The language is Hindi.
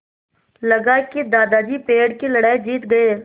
लगा कि दादाजी पेड़ की लड़ाई जीत गए